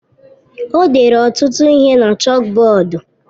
O dere ọtụtụ ihe na chọkbọọdu.